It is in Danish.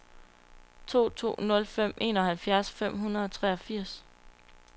to to nul fem enoghalvfems fem hundrede og treogfirs